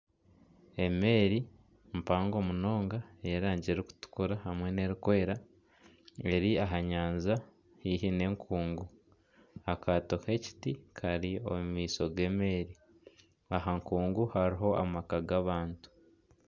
Emeeri mpango munonga ey'erangi erikutukura hamwe n'erikwera eri aha nyanja haihi n'enkungu akaato k'ekiti kari omu maisho g'emeeri aha nkungu hariho amaka g'abantu.